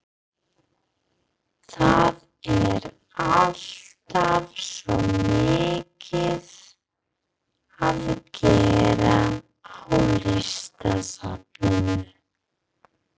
Það er alltaf svo mikið að gera á Listasafninu.